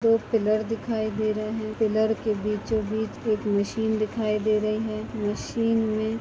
दो पिलर दिखाई दे रहा है पिलर के बीचों बीच एक मशीन दिखाई दे रही है मशीन में।